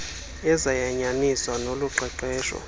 ezayanyaniswa nolu qeqesho